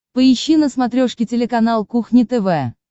поищи на смотрешке телеканал кухня тв